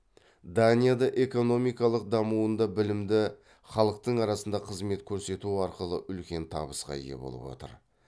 данияда экономикалық дамуында білімді халықтың арқасында қызмет көрсету арқылы үлкен табысқа ие болып отыр